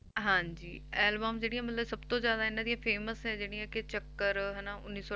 ਹਾਂਜੀ album ਜਿਹੜੀਆਂ ਮਤਲਬ ਸਭ ਤੋਂ ਜ਼ਿਆਦਾ ਇਹਨਾਂ ਦੀਆਂ famous ਹੈ ਜਿਹੜੀਆਂ ਕਿ ਚੱਕਰ ਹਨਾ ਉੱਨੀ ਸੌ